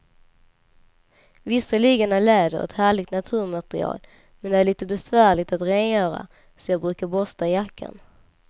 Visserligen är läder ett härligt naturmaterial, men det är lite besvärligt att rengöra, så jag brukar borsta jackan.